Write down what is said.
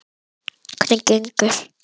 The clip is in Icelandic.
Kristel, hvað er opið lengi á laugardaginn?